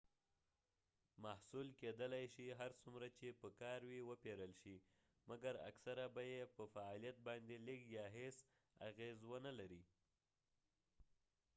محصول کېدلای شي هر څومره چې په کار وي وپیرل شي مکر اکثره به یې په فعالیت باندي لږ یا هیڅ اغیز و نه لري